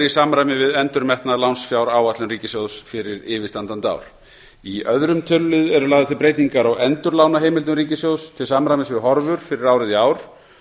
samræmi við endurmetna lánsfjáráætlun ríkissjóðs fyrir yfirstandandi ár í öðrum tölulið eru lagðar til breytingar á endurlánaheimildum ríkissjóðs til samræmis við horfur fyrir árið í ár